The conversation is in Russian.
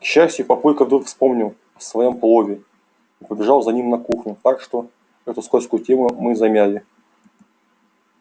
к счастью папулька вдруг вспомнил о своём плове и побежал за ним на кухню так что эту скользкую тему мы замяли